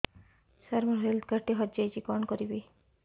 ସାର ମୋର health card ଟି ହଜି ଯାଇଛି କଣ କରିବି